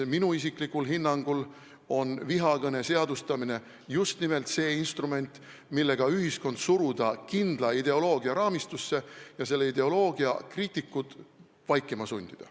Minu isiklikul hinnangul on vihakõne seadustamine just nimelt see instrument, millega saab ühiskonna suruda kindla ideoloogia raamistusse ja selle ideoloogia kriitikud vaikima sundida.